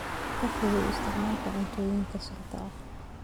Ka fogow isticmaalka cuntooyinka sunta ah.